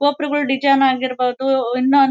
ಗೋಪುರಗಳ್ design ಆಗಿರ್ಬೋದು ಇನ್ನ--